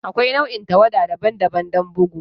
Akwai nau'in tawada daban-daban don bugu.